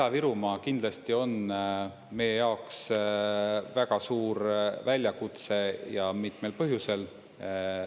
Ida-Virumaa kindlasti on meie jaoks väga suur väljakutse, ja mitmel põhjusel.